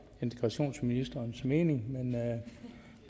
og integrationsministerens mening